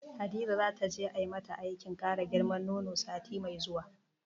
Hadiza zata je ai mata aikin kara girman nono sati mai zuwa.